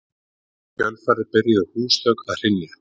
Í kjölfarið byrjuðu húsþök að hrynja.